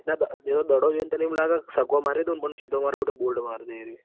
દડો જોઈન તને એવુંલાગ કે છગ્ગો મારી દઉં પણ સીધો માર બેટો બોલ્ડ મારી દે એરીયો.